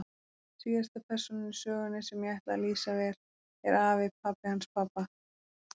Síðasta persónan í sögunni, sem ég ætla að lýsa vel, er afi, pabbi hans pabba.